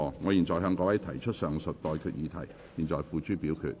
我現在向各位提出上述待決議題，付諸表決。